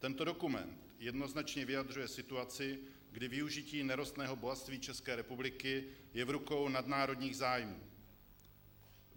Tento dokument jednoznačně vyjadřuje situaci, kdy využití nerostného bohatství České republiky je v rukou nadnárodních zájmů.